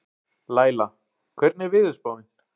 Laíla, hvernig er veðurspáin?